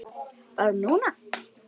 Barn núna.